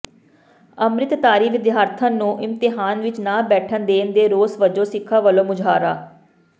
ਅੰਮ੍ਰਿਤਧਾਰੀ ਵਿਦਿਆਰਥਣ ਨੂੰ ਇਮਤਿਹਾਨ ਵਿੱਚ ਨਾ ਬੈਠਣ ਦੇਣ ਦੇ ਰੋਸ ਵਜੋਂ ਸਿੱਖਾਂ ਵੱਲੋਂ ਮੁਜ਼ਾਹਰਾ